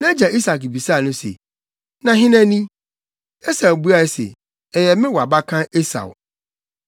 Nʼagya Isak bisaa no se, “Na hena ni?” Esau buae se, “Ɛyɛ me wʼabakan Esau.”